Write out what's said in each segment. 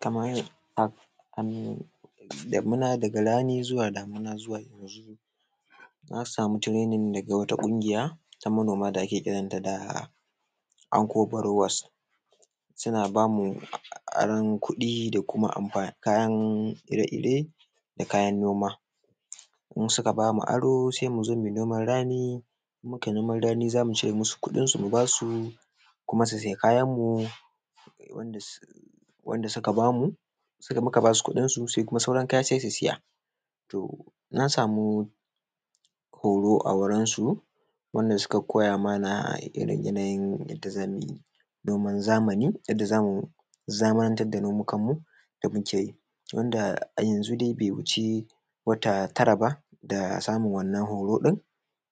kama hanyar damina daga rani zuwa damina, zuwa yanzu na samu tiranin daga ƙungiya da ake kiranta Anko Barowas suna ba mu aron kuɗi da kuma amfa kayan ire-ire da kayan nom, in suka ba mu aro, se mu zo mu yi noman rani. In mu kai noman rani, za mu cire musu kuɗinsu, mu ba su kuma su sayi kayan mu wanda suka ba mu, se da muka ba su kuɗinsu, se kuma sauran kaya se su saya. To, na samu horo a wurin su, wanda suka koya mana ire-iren yadda za mu yi noman zamani, yadda za mu zamantar da nomikanmu da muke wanda a yanzu dai, da muke, wanda a yanzu dai, ba ya wuce wata tara ba da samu wannan horo ɗin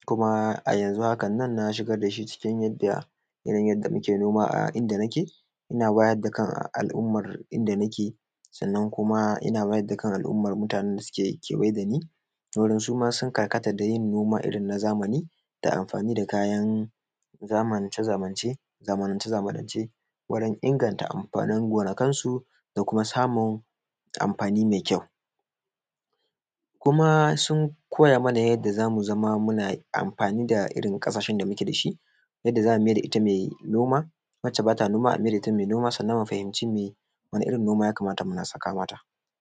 kuma a yanzu hakan nan, na shigar da shi cikin yadda muke noma a inda nake. Ina wayar da kan al’umman inda nake, sannan kuma ina wayar da kan al’umman mutanen da ke kewaye da ni, wurin suma sun karkata da yin noma irin na zamani, da amfani da kayan zamance, zamance, zamance, wurin inganta amfanin gonakansu, da kuma samun amfani mai kyau kuma sun koya mana yadda za mu zama muna amfani da irin ƙasashen da muke da shi, yadda za mu mayar da ita mai noma, wacce ba ta noma a mayar da ita mai noma, sannan mu fahimci mai wani irin noma ya kamata muna saka mata.